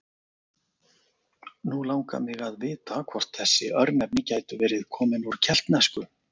Nú langar mig að vita hvort þessi örnefni gætu verið komin úr keltnesku?